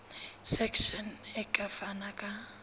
section e ka fana ka